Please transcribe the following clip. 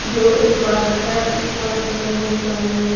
जो एक पार्क है इस पार्क में बहुत सारे --